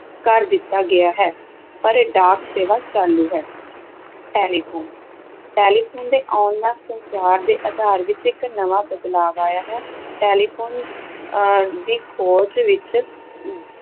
ਕਰ ਦਿੱਤਾ ਗਿਆ ਹੈ, ਪਰ ਡਾਕ ਸੇਵਾ ਚਾਲੂ ਹੈ ਟੈਲੀਫ਼ੋਨ ਟੈਲੀਫ਼ੋਨ ਦੇ ਆਉਣ ਨਾਲ ਸੰਚਾਰ ਦੇ ਆਧਾਰ ਵਿੱਚ ਇੱਕ ਨਵਾਂ ਬਦਲਾਵ ਆਇਆ ਹੈ, ਟੈਲੀਫ਼ੋਨ ਅਹ ਦੀ ਖੋਜ ਵਿੱਚ